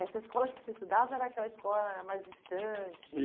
Essa escola que você estudava era aquela escola mais distante?